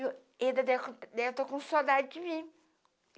E ele deve, deve estar com saudade de mim.